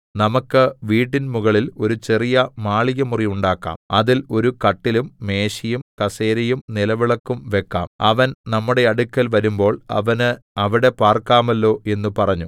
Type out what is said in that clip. നമുക്ക് വീട്ടിൻ മുകളിൽ ചെറിയ ഒരു മാളികമുറി ഉണ്ടാക്കാം അതിൽ ഒരു കട്ടിലും മേശയും കസേരയും നിലവിളക്കും വെക്കാം അവൻ നമ്മുടെ അടുക്കൽ വരുമ്പോൾ അവന് അവിടെ പാർക്കാമല്ലോ എന്ന് പറഞ്ഞു